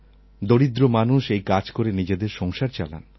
দরিদ্র মানুষ এই কাজ করে নিজেদের সংসার চালান